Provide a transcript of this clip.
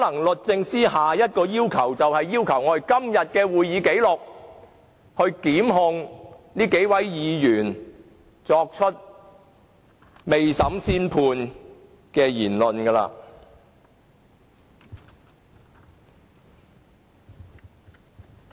律政司下一個要求，可能便是索取今天會議的紀錄，以檢控這些未審先判的議員。